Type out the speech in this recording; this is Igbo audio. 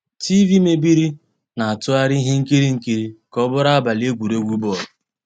TV meébìrí, ná-àtụ́ghàrị́ íhé nkírí nkírí ká ọ́ bụ́rụ́ àbàlí égwurégwu bọ́ọ̀lụ́.